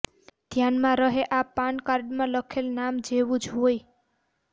ધ્યાનમાં રહે આ પાન કાર્ડમાં લખેલા નામ જેવું જ હોય